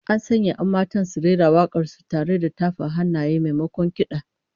An sanya 'yan matan su rera wak'ar su tare da tafa hannaye, maimakon kid'a